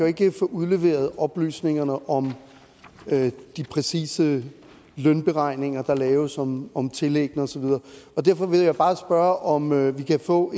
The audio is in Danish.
ikke få udleveret oplysningerne om de præcise lønberegninger der laves om om tillæggene og så videre derfor vil jeg bare spørge om vi kan få